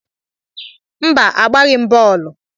Mba, agbaghị m bọọlụ.